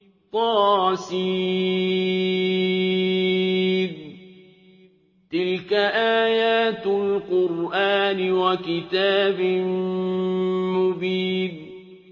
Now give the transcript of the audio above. طس ۚ تِلْكَ آيَاتُ الْقُرْآنِ وَكِتَابٍ مُّبِينٍ